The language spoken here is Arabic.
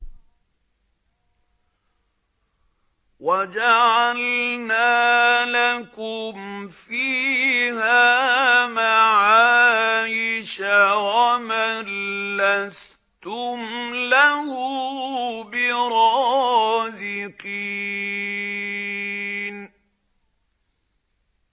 وَجَعَلْنَا لَكُمْ فِيهَا مَعَايِشَ وَمَن لَّسْتُمْ لَهُ بِرَازِقِينَ